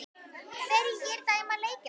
Hverjir dæma leikina?